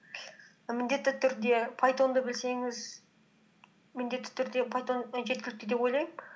міндетті түрде пайтонды білсеңіз міндетті түрде пайтон і жеткілікті деп ойлаймын